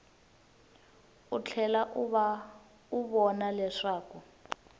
u tlhela u vona leswaku